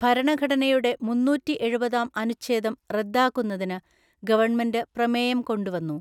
ഭരണഘടനയുടെ മുന്നൂറ്റിഎഴുപതാം അനുച്ഛേദം റദ്ദാക്കുന്നതിന് ഗവണ്മെന്റ് പ്രമേയം കൊണ്ടുവന്നു